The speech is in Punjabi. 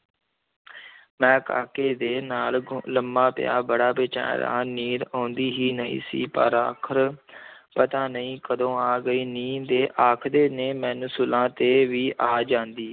ਮੈਂ ਕਾਕੇ ਦੇ ਨਾਲ ਗ ਲੰਮਾ ਪਿਆ ਬੜਾ ਬੇਚੈਨ ਰਿਹਾ, ਨੀਂਦ ਆਉਂਦੀ ਹੀ ਨਹੀਂ ਸੀ ਪਰ ਆਖ਼ਰ ਪਤਾ ਨਹੀਂ ਕਦੋਂ ਆ ਗਈ, ਨੀਂਦ ਤੇ ਆਖਦੇ ਨੇ ਮੈਨੂੰ ਸੂਲਾਂ ਤੇ ਵੀ ਆ ਜਾਂਦੀ।